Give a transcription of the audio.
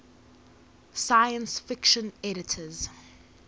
science fiction editors